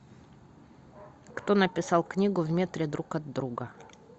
кто написал книгу в метре друг от друга